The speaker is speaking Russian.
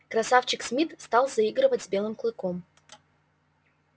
красавчик смит стал заигрывать с белым клыком